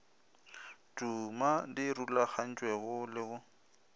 tuma di rulagantšwego le go